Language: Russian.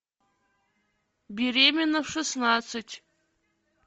беременна в шестнадцать